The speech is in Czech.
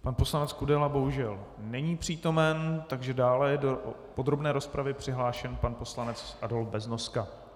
Pan poslanec Kudela bohužel není přítomen, takže dále je do podrobné rozpravy přihlášen pan poslanec Adolf Beznoska.